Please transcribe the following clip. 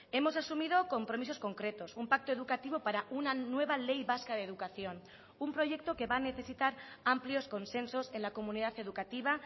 hemos asumido compromisos concretos un pacto educativo para una nueva ley vasca de educación un proyecto que va a necesitar amplios consensos en la comunidad educativa